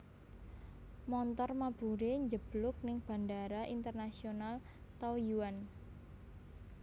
Montor mabure njebluk ning Bandara Internasional Taoyuan